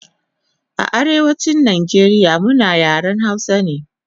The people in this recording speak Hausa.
A Arewachin Nijeria muna yaren hausa ne